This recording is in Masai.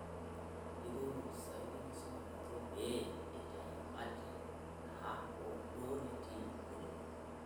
Eikoo olopisai lenkisuma ninche pee eitayu ate ataa hoo duo netii ngolikinot